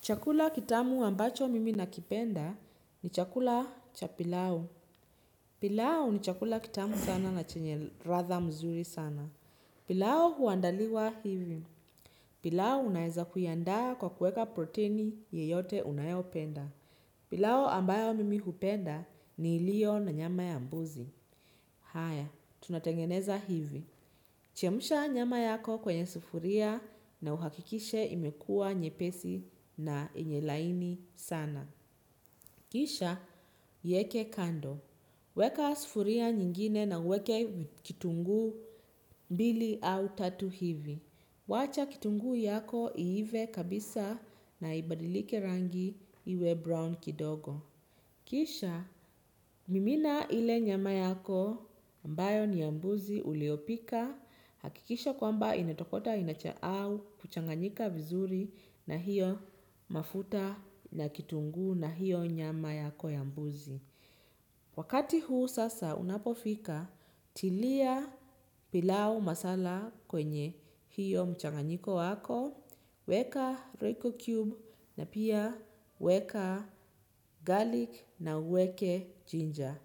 Chakula kitamu ambacho mimi nakipenda ni chakula cha pilau. Pilau ni chakula kitamu sana na chenye radha mzuri sana. Pilau huandaliwa hivi. Pilau unaeza kuiandaa kwa kueka proteini yeyote unayopenda. Pilau ambayo mimi hupenda ni ilio na nyama ya mbuzi. Haya, tunatengeneza hivi. Chemsha nyama yako kwenye sufuria na uhakikishe imekua nyepesi na yenye laini sana. Kisha iyeke kando. Weka sufuria nyingine na uweke kitungu mbili au tatu hivi. Wacha kitunguu yako iive kabisa na ibadilike rangi iwe brown kidogo. Kisha mimina ile nyama yako ambayo ni ya mbuzi uliopika, hakikisha kwamba imetokota inacha au kuchanganyika vizuri na hiyo mafuta na kitungu na hiyo nyama yako ya mbuzi. Wakati huu sasa unapofika, tilia pilau masala kwenye hiyo mchanganyiko wako, weka royco cube na pia weka garlic na uweke ginger.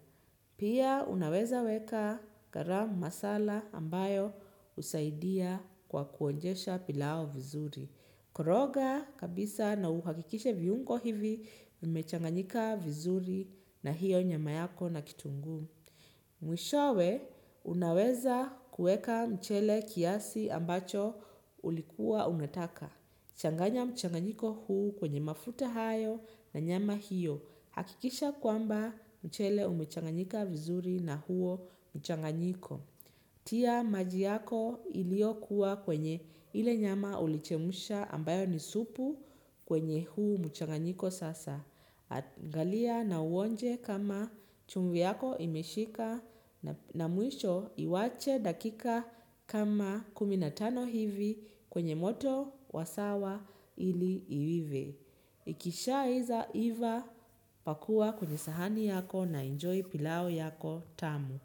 Pia unaweza weka garam masala ambayo husaidia kwa kuonjesha pilau vizuri. Koroga kabisa na uhakikishe viungo hivi vimechanganyika vizuri na hiyo nyama yako na kitunguu. Mwishowe unaweza kueka mchele kiasi ambacho ulikuwa unataka. Changanya mchanganyiko huu kwenye mafuta hayo na nyama hiyo. Hakikisha kwamba mchele umechanganyika vizuri na huo mchanganyiko. Tia maji yako ilio kuwa kwenye ile nyama ulichemsha ambayo ni supu kwenye huu mchanganyiko sasa. Angalia na uonje kama chumvi yako imeshika na mwisho iwache dakika kama kumi natano hivi kwenye moto wasawa ili iive. Ikisha iva pakua kwenye sahani yako na enjoy pilau yako tamu.